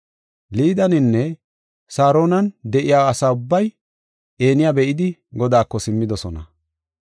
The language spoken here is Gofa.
Liideninne Saaronan de7iya asa ubbay Eniya be7idi, Godaako simmidosona.